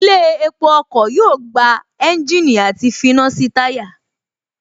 Ilé epo ọkọ̀ yóò gba ẹ́ńjìnì àti finá sí táyà